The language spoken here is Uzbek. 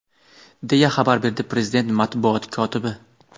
deya xabar berdi prezident matbuot kotibi.